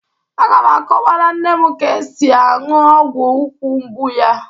Aga m akọwara nne m ka e si aṅụ ọgwụ úkwù mgbu ya.